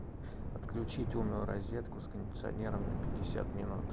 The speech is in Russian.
отключить умную розетку с кондиционером на пятьдесят минут